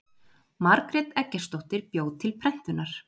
Margrét Eggertsdóttir bjó til prentunar.